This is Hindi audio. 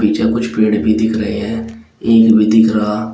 मुझे कुछ पेड़ भी दिख रहे है ईंट भी दिख रहा--